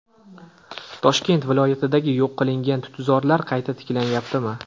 Toshkent viloyatidagi yo‘q qilingan tutzorlar qayta tiklanyaptimi?.